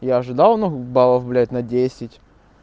я ожидал ну баллов блядь на десять